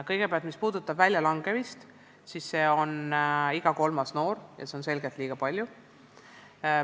Kõigepealt, mis puudutab väljalangemist, siis välja langeb iga kolmas noor ja seda on selgelt liiga palju.